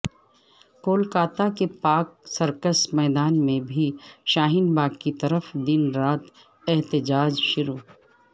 کولکاتا کے پاک سرکس میدان میں بھی شاہین باغ کی طرح دن رات احتجاج شروع